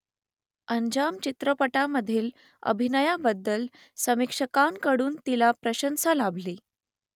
अंजाम चित्रपटामधील अभिनयाबद्दल समीक्षकांकडून तिला प्रशंसा लाभली